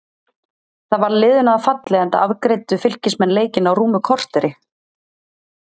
Það varð liðinu að falli enda afgreiddu Fylkismenn leikinn á rúmu korteri.